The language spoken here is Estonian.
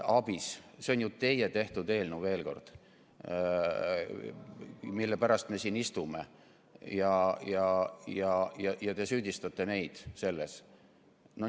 Ka ABIS-e eelnõu on ju teie tehtud, kuid selle pärast me siin istume ja te süüdistate selles meid.